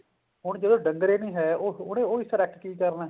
ਹੁਣ ਜਦੋਂ ਡੰਗਰ ਹੀ ਨੀ ਹੈ ਉਹ ਉਹ ਹਿੱਸਾ ਰੱਖ ਕੇ ਕੀ ਕਰਨਾ